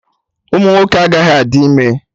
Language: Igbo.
Ụmụnwoke agaghị adị ime